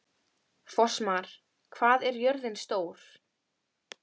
Fossmar, hvað er jörðin stór?